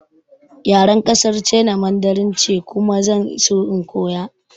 Yaren ƙasar China Mandarin ce kuma zan so in koya